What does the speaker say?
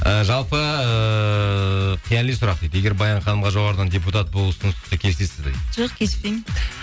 і жалпы ыыы қияли сұрақ дейді егер баян ханымға жоғарыдан депутат болу ұсыныс түссе келісесіз бе дейді жоқ келіспеймін